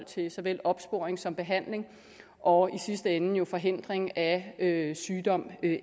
til såvel opsporing som behandling og i sidste ende jo forhindring af sygdom